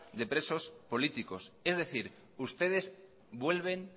de presos políticos es decir ustedes vuelven